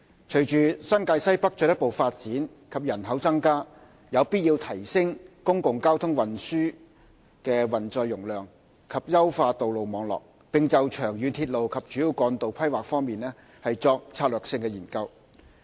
隨着新界西北進一步發展及人口增加，有必要提升公共交通運載容量及優化道路網絡，並就長遠鐵路及主要幹道規劃方面作策略性研究。